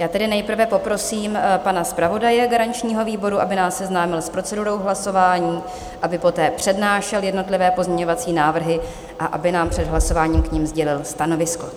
Já tedy nejprve poprosím pana zpravodaje garančního výboru, aby nás seznámil s procedurou hlasování, aby poté přednášel jednotlivé pozměňovací návrhy a aby nám před hlasováním k nim sdělil stanovisko.